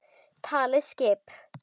Talið skip?